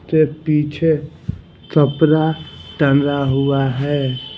के पीछे कपड़ा टंगा हुआ हैं ।